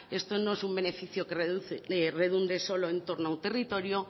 esto no es un beneficio que redunde solo en torno a un territorio